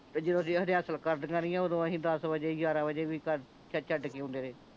ਤੇ ਜਦੋਂ ਅਸੀਂ ਰੇਹੇਸੁਲ ਕਰਦੀਆਂ ਰਹੀਆਂ ਓਦੋਂ ਅਸੀਂ ਦੱਸ ਵਜੇ ਗਿਆਰਾਂ ਵਜੇ ਵੀ ਘਰ ਛੱਡ ਕੇ ਆਉਂਦੇ ਰਹੇ